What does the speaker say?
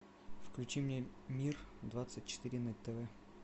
включи мне мир двадцать четыре на тв